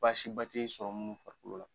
Baasi ba tɛ sɔrɔ minnu farikolo la,